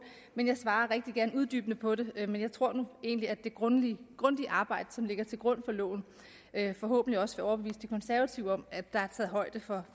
men jeg svarer rigtig gerne uddybende på det men jeg tror nu egentlig at det grundige arbejde som ligger til grund for loven forhåbentlig også vil overbevise de konservative om at der er taget højde for